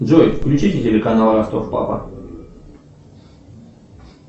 джой включи телеканал ростов папа